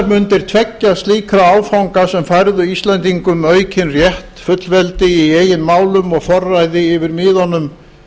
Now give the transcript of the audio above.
mundir tveggja slíkra áfanga sem færðu íslendingum aukinn rétt fullveldi í eigin málum og forræði yfir miðunum